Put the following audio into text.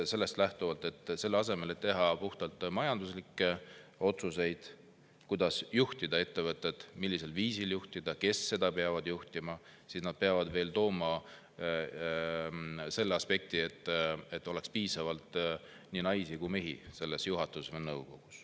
Selle asemel, et teha puhtalt majanduslikke otsuseid, kuidas juhtida ettevõtet, millisel viisil seda juhtida, kes seda juhivad, peavad nad veel sellega, et juhatuses või nõukogus oleks piisavalt naisi ja mehi.